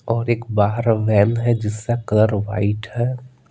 और एक बाहर वैन है जिसका कलर वाइट है।